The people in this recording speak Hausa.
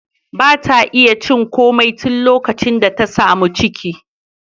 Ba ta iya cin komai tun likacin da ta sami ciki.